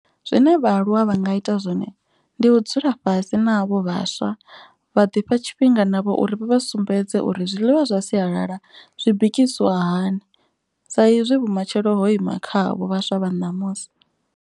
Zwine vhaaluwa vha nga ita zwone ndi u dzula fhasi na avho vhaswa. Vha ḓi fha tshifhinga navho uri vha vha sumbedze uri zwiḽiwa zwa sialala. Zwi bikisiwa hani sa izwi vhumatshelo ho ima kha avho vhaswa vha ṋamusi.